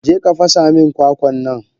Jeka fasa min kwakwannan!